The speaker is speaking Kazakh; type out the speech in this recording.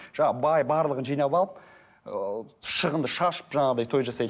бай барлығын жинап алып ыыы шығынды шашып жаңағыдай той жасайды